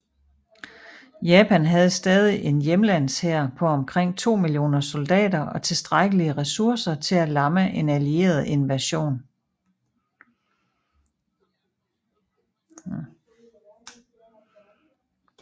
Japan havde stadig en hjemlandshær på omkring to millioner soldater og tilstrækkelige ressourcer til at lammeen allieret invasion